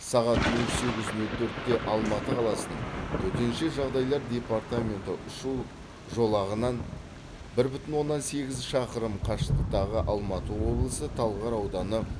сағат нөл сегіз нөл төртте алматы қаласының төтенше жағдайлар департаменті ұшу жолағынан бір бүтін оннан сегіз шақырым қашықтықтағы алматы облысы талғар ауданы